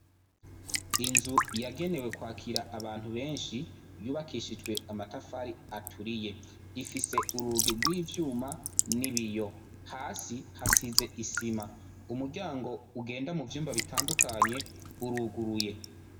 Inzu yagenewe kwakira abantu benshi, yubakishijwe amatafari aturiye, ifise urugi rwivyuma n ‘ibiyo, hasi hasize isima umuryango ugenda muvyumba bitandukanye uruguruye.